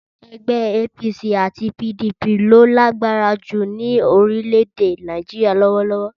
Ẹgbẹ́ APC àti PDP ló lágbára jù ní orílẹ̀-èdè Nàìjíríà lọ́wọ́lọ́wọ́.